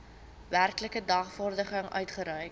werklike dagvaarding uitgereik